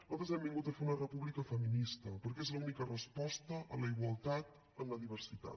nosaltres hem vingut a fer una república feminista perquè és la única resposta a la igualtat en la diversitat